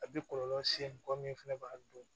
A bɛ kɔlɔlɔ se mɔgɔ min fana b'a dun